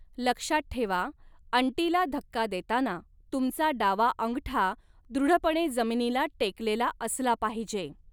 लक्षात ठेवा, अंटीला धक्का देताना, तुमचा डावा अंगठा दृढपणे जमीनीला टेकलेला असला पाहिजे.